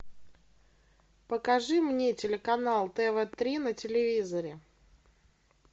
покажи мне телеканал тв три на телевизоре